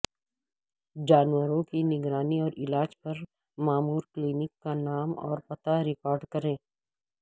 جانوروں کی نگرانی اور علاج پر مامورکلینک کا نام اور پتہ ریکارڈ کریں